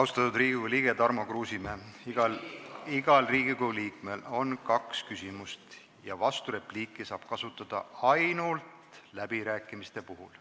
Austatud Riigikogu liige Tarmo Kruusimäe, iga Riigikogu liige saab küsida kaks küsimust ja vasturepliiki saab esitada ainult läbirääkimistel.